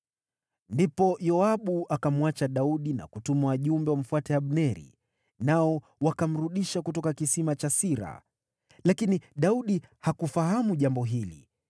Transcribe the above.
Ndipo Yoabu akamwacha Daudi na kutuma wajumbe wamfuate Abneri, nao wakamrudisha kutoka kisima cha Sira. Lakini Daudi hakufahamu jambo hili.